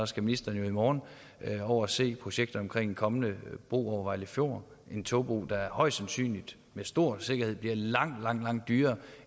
skal ministeren jo i morgen over at se på projekter for den kommende bro over vejle fjord en togbro der højst sandsynligt med stor sikkerhed bliver langt langt dyrere